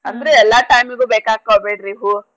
ಅಂದ್ರೆ ಎಲ್ಲಾ time ಗೂ ಬೇಕಾಕೋವ್ ಬಿಡ್ರಿ ಹೂವು.